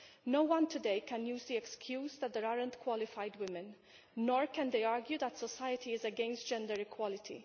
No one today can use the excuse that there are no qualified women, nor can they argue that society is against gender equality.